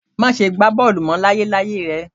Máṣe gbá bọ́ọ̀lù mọ́ láyéláyé rẹ